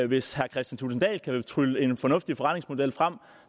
hvis herre kristian thulesen dahl kan trylle en fornuftig forretningsmodel frem